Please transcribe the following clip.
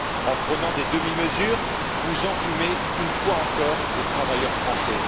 En prenant des demi mesures, vous enfumez une fois encore les travailleurs français.